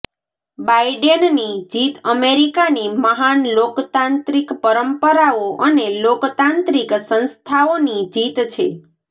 બાઈડેનની જીત અમેરિકાની મહાન લોકતાંત્રિક પરંપરાઓ અને લોકતાંત્રિક સંસ્થાઓની જીત છે